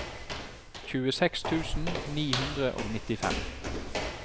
tjueseks tusen ni hundre og nittifem